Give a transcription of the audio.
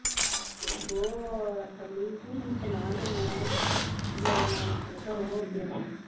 ਤੇ ਉਹ ਆਖਣ ਦੀ ਹੀ ਪੀ ਮੈਨੂੰ ਸੁਣਾ ਦਿੰਦੀਆਂ ਹੀ ਪੀ ਮੇਰੇ ਨਾਨਕਿਆਂ ਦੇ ਘਰੋਂ ਹੋ ਕੇ ਆਈ